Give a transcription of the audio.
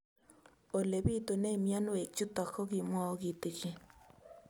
Ole pitune mionwek chutok ko kimwau kitig'�n